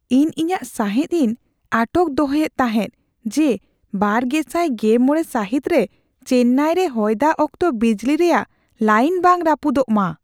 ᱤᱧ ᱤᱧᱟᱹᱜ ᱥᱟᱸᱦᱮᱫ ᱤᱧ ᱟᱴᱚᱠ ᱫᱚᱦᱚᱭᱮᱫ ᱛᱟᱦᱮᱸᱜ ᱡᱮ ᱒᱐᱑᱕ ᱥᱟᱹᱦᱤᱛ ᱨᱮ ᱪᱮᱱᱱᱟᱭ ᱨᱮ ᱦᱚᱭᱫᱟᱜ ᱚᱠᱛᱚ ᱵᱤᱡᱽᱞᱤ ᱨᱮᱭᱟᱜ ᱞᱟᱭᱤᱱ ᱵᱟᱝ ᱨᱟᱹᱯᱩᱫᱚᱜ ᱢᱟ ᱾